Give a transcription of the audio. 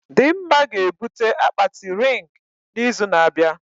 Dimma ga-ebute akpati rịng na izu na abịa